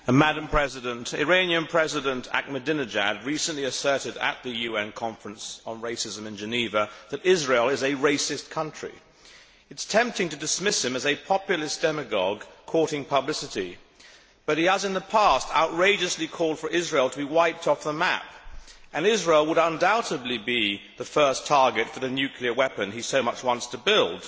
Madam President, Iranian President Ahmadinejad recently asserted at the UN Conference on Racism in Geneva that Israel is a racist country. It is tempting to dismiss him as a populist demagogue courting publicity, but he has in the past outrageously called for Israel to be wiped off the map, and Israel would undoubtedly be the first target for the nuclear weapon he so much wants to build.